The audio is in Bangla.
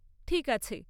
ঠিক আছে।